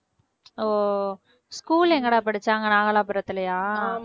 ஓ school எங்கடா படிச்ச அங்க நாகலாபுரத்திலயா?